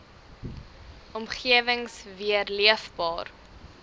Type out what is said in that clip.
omgewings weer leefbaar